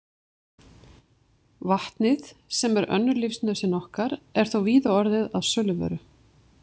Vatnið, sem er önnur lífsnauðsyn okkar, er þó víða orðið að söluvöru.